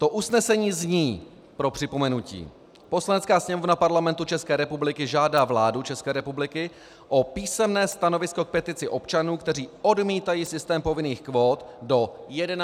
To usnesení zní - pro připomenutí: Poslanecká sněmovna Parlamentu České republiky žádá vládu České republiky o písemné stanovisko k petici občanů, kteří odmítají systém povinných kvót, do 11. dubna.